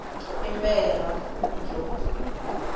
i mberha p ndlovu